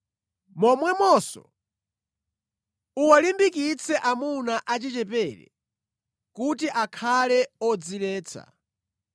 Momwemonso, uwalimbikitse amuna achichepere kuti akhale odziletsa.